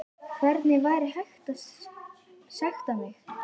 Hvernig væri hægt að sekta mig?